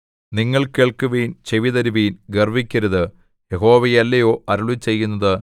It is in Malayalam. നിങ്ങൾ കേൾക്കുവിൻ ചെവിതരുവിൻ ഗർവ്വിക്കരുത് യഹോവയല്ലയോ അരുളിച്ചെയ്യുന്നത്